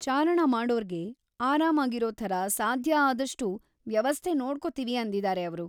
ಚಾರಣ ಮಾಡೋರ್ಗೆ ಆರಾಮಾಗಿರೋ ಥರ ಸಾಧ್ಯಾದಷ್ಟು ವ್ಯವಸ್ಥೆ ನೋಡ್ಕೊತೀವಿ ಅಂದಿದಾರೆ ಅವ್ರು.